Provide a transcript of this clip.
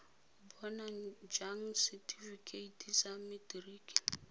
bona jang setifikeite sa materiki